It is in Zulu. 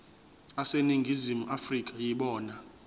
aseningizimu afrika yibona